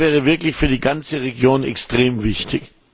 Und das wäre wirklich für die ganze Region extrem wichtig.